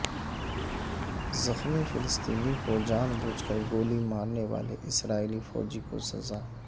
زخمی فلسطینی کو جان بوجھ کر گولی مارنے والے اسرائیلی فوجی کو سزا